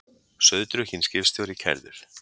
Sauðdrukkinn skipstjóri kærður